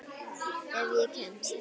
Ef ég kemst.